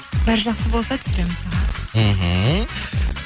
бәрі жақсы болса түсіреміз аха мхм